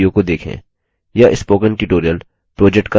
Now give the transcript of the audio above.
निम्न link पर उपलब्ध video को देखें